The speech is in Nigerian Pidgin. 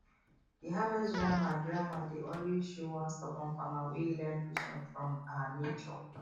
the harvest drama drama dey always show one stubborn farmer wey learn patience from um nature